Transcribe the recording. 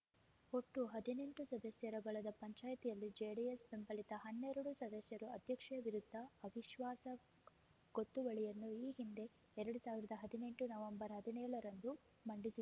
ಒಟ್ಟು ಹದಿನೆಂಟು ಸದಸ್ಯರ ಬಲದ ಪಂಚಾಯ್ತಿಯಲ್ಲಿ ಜೆಡಿಎಸ್ ಬೆಂಬಲಿತ ಹನ್ನೆರಡು ಸದಸ್ಯರು ಅಧ್ಯಕ್ಷೆ ವಿರುದ್ದ ಅವಿಶ್ವಾಸ ಗೊತ್ತುವಳಿಯನ್ನು ಈ ಹಿಂದೆ ಎರಡ್ ಸಾವಿರದ ಹದಿನೆಂಟು ನವೆಂಬರ್ ಹದಿನೇಳರಂದು ಮಂಡಿಸಿದ್ದರು